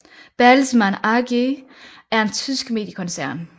Bertelsmann AG er en tysk mediekoncern